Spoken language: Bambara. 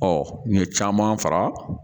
n ye caman fara